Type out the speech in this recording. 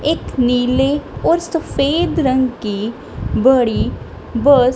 एक नीले और सफेद रंग की बड़ी बस --